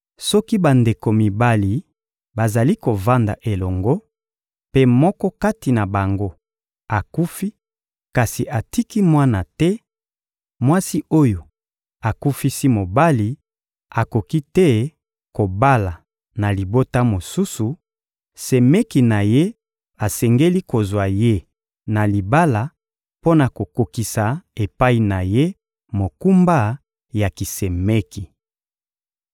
Soki bandeko mibali bazali kovanda elongo, mpe moko kati na bango akufi kasi atiki mwana te, mwasi oyo akufisi mobali akoki te kobala na libota mosusu; semeki na ye asengeli kozwa ye na libala mpo na kokokisa epai na ye mokumba ya kisemeki.